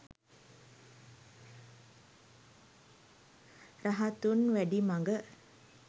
rahathun vadi maga